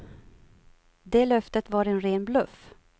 Det löftet var en ren bluff.